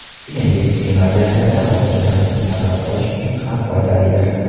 Shuningdek, qiyin vaziyatlarda xotirjamlikni saqlab qolish uchun ham foydalidir.